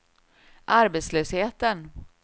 arbetslösheten